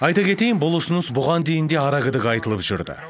айта кетейін бұл ұсыныс бұған дейін де арагідік айтылып жүрді